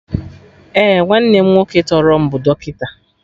Ee, nwanne m nwoke tọrọ m bụ dọkịta